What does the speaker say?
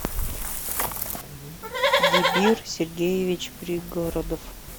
дибир сергеевич пригородов